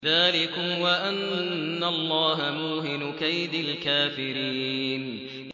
ذَٰلِكُمْ وَأَنَّ اللَّهَ مُوهِنُ كَيْدِ الْكَافِرِينَ